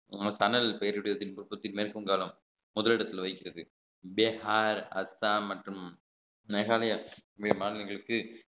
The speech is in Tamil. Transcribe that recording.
நம்ம தணல் பெயருடைய மேற்கு வங்காளம் முதலிடத்தில் வகிக்கிறது அப்படியே அ~ அசாம் மற்றும் மேகாலயா மாநிலங்களுக்கு